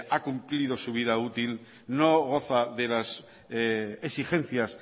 ha cumplido su vida útil no goza de las exigencias